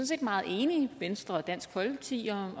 set meget enige venstre og dansk folkeparti om